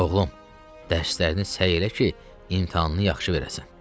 Oğlum, dərslərini səy elə ki, imtahanını yaxşı verəsən.